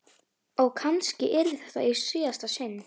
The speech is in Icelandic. Og kannski yrði þetta í síðasta sinn.